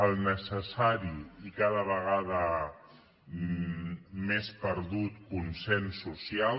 el necessari i cada vegada més perdut consens social